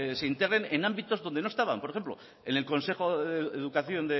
se integren en ámbitos donde no estaban por ejemplo en el consejo de educación